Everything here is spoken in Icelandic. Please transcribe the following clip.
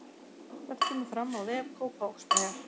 Þetta kemur fram á vef Kópavogsbæjar